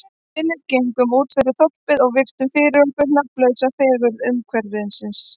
Við Philip gengum útfyrir þorpið og virtum fyrir okkur nafnlausa fegurð umhverfisins.